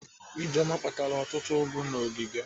Ijeoma kpatara ọtụtụ ụgụ n'ogige.